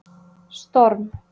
Storm